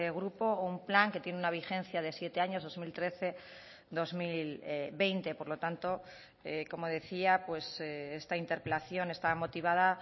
grupo o un plan que tiene una vigencia de siete años dos mil trece dos mil veinte por lo tanto como decía esta interpelación está motivada